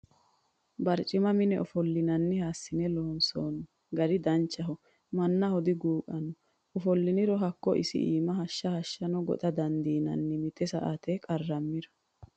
Barcima mine ofollinanniha assine loonsonni gari danchaho mannaho diguqano ofolliro hakko isi iima hashsha hashshano goxa dandiinanni mite mite saate qarramiro.